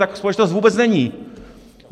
Taková společnost vůbec není!